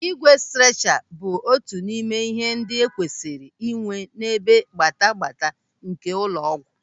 Ígwè strecha bụ otu n'ime ihe ndị e kwesịrị inwe n'ebe gbata gbata nke ụlọ ọgwụ.